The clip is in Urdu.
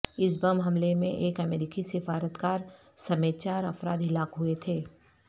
اس بم حملے میں ایک امریکی سفارتکار سمیت چار افراد ہلاک ہوئے تھے